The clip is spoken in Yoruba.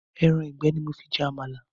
Ẹran ìgbẹ́ ni mo fi jẹ Àmàlà